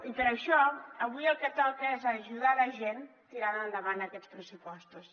i per això avui el que toca és ajudar la gent tirant endavant aquests pressupostos